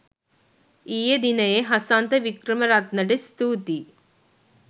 ඊයේ දිනයේ හසන්ත වික්‍රමරත්නට ස්තුතියි